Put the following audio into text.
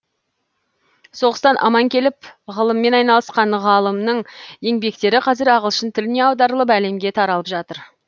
соғыстан аман келіп ғылыммен айналысқан ғалымның еңбектері қазір ағылшын тіліне аударылып әлемге таралып жатыр